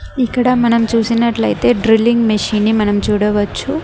ఇక్కడ మనం చూసినట్లయితే డ్రిల్లింగ్ మెషిన్ ని మనం చూడవచ్చు.